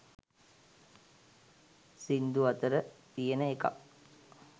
සින්දු අතර තියෙන එකක්.